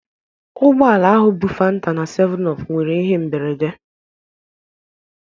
Ụgbọ ala bu fanta na 7up nwere ihe mberede